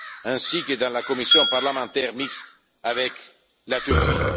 ainsi que dans la commission parlementaire mixte avec la Turquie.